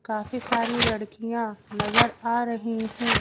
काफी सारी लड़कियां नजर आ रही हैं।